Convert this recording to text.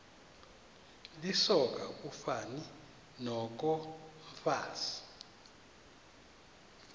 lisoka ufani nokomfazi